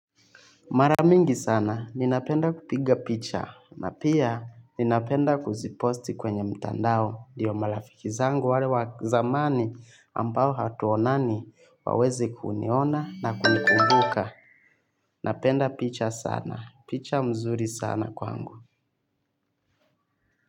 Mara mingi sana, ninapenda kupiga picha, na pia ninapenda kuziposti kwenye mtandao, ndio marafiki zangu wale wazamani ambao hatuonani waweze kuniona na kunikumbuka. Napenda picha sana, picha mzuri sana kwangu.